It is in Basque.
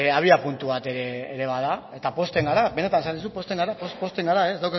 abiapuntu bat ere bada eta pozten gara benetan esaten dizut pozten gara ez